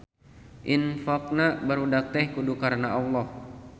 Infaqna barudak teh kudu karana Allah